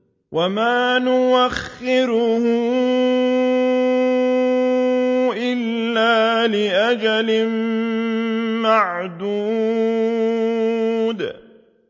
وَمَا نُؤَخِّرُهُ إِلَّا لِأَجَلٍ مَّعْدُودٍ